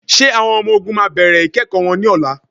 Ṣé àwọn ọmọ-ọ̀gùn máa bẹ̀rẹ̀ ikẹ́kọ wọn ní ọlá?